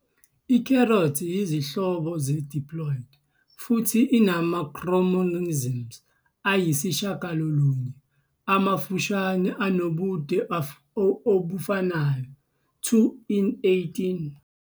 I-carrot yizinhlobo ze-diploid, futhi inama-chromosomes ayisishiyagalolunye amafushane, anobude obufanayo, 2 "n" 18.